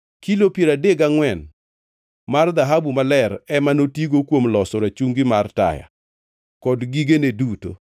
Kilo piero adek gangʼwen mar dhahabu maler ema notigo kuom loso rachungi mar taya kod gigene duto.